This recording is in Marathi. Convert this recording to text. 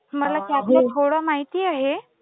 मला त्यातलं थोडं माहित आहे